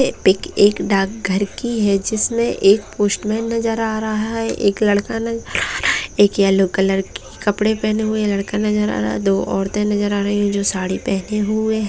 ये पिक एक डाक घर की है जिसमें एक पोस्टमैन नजर आ रहा है एक लड़का नजर आ रहा है एक येल्लो कलर की कपड़ा पहना हुआ लड़का नजर आ रहा है दो औरते नजर आ रही है जो सारी पहनें हुए हैं।